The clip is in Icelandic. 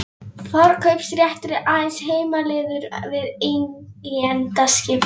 Forkaupsréttur er aðeins heimilaður við eigendaskipti.